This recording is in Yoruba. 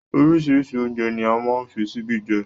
Oríṣiríṣi oúnjẹ ní a máa ń fi síbi jẹ